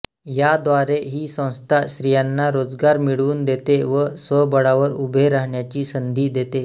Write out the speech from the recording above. याद्वारे ही संस्था स्त्रीयांना रोजगार मिळवून देते व स्वबळावर उभे राहण्याची संधी देते